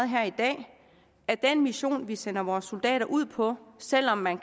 her i dag at den mission vi sender vores soldater ud på selv om man